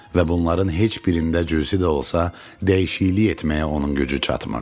Və bunların heç birində cüzi də olsa dəyişiklik etməyə onun gücü çatmırdı.